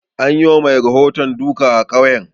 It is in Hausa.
An yi wa mai rahoton duka a ƙauyen